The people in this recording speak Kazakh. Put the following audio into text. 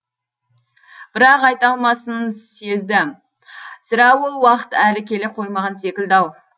бірақ айта алмасын сезді сірә ол уақыт әлі келе қоймаған секілді ау